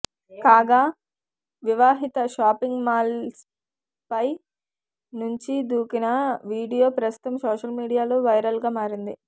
కాగా వివాహిత షాపింగ్ మాల్పై నుంచి దూకిన వీడియో ప్రస్తుతం సోషల్ మీడియాలో వైరల్గా మారింది